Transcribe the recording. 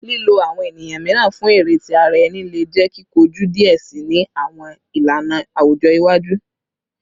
Lilo awọn eniyan miiran fun ere ti ara ẹni le jẹ kikoju diẹ sii ni awọn ilana awujọ iwaju